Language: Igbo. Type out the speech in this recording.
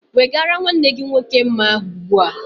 Wegara nwanne gị nwoke mma ahụ ugbu a!